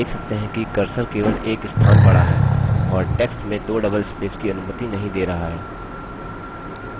आप देख सकते हैं कि cursor केवल एक स्थान बढ़ा है और text में दो double spaces की अनुमति नहीं दे रहा है